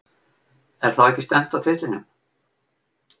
Er þá ekki stefnt að titlinum?